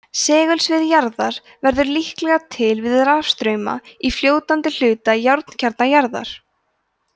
segulsvið jarðar verður líklega til við rafstrauma í fljótandi hluta járnkjarna jarðar